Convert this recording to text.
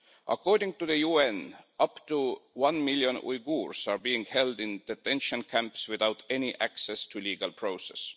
According to the UN, up to one million Uyghurs are being held in detention camps without any access to legal process.